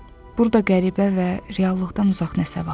Burda qəribə və reallıqdan uzaq nəsə var.